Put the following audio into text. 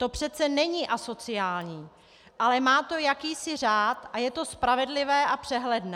To přece není asociální, ale má to jakýsi řád a je to spravedlivé a přehledné.